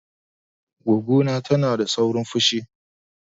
Goggo na tana da saurin fushi.